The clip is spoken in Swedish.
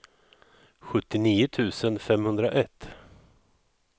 sjuttionio tusen femhundraett